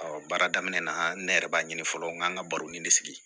baara daminɛ na ne yɛrɛ b'a ɲini fɔlɔ n ga n ka baro ni sigi